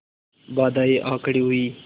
बाधाऍं आ खड़ी हुई